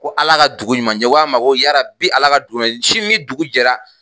Ko Ala ka dugu ɲuman jɛ, n ko k'a ma ko yaa Rabi Ala ka dugu ɲuman jɛ sini ni dugu jɛra